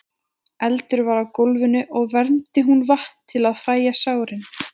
eldur var á gólfinu og vermdi hún vatn til að fægja sárin